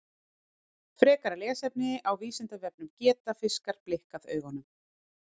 Frekara lesefni á Vísindavefnum Geta fiskar blikkað augunum?